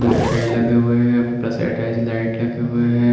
ये टाइल्स लगे हुए हैं प्रेस ता लाइट लगे हुए है।